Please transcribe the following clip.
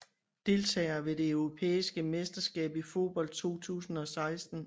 Deltagere ved det europæiske mesterskab i fodbold 2016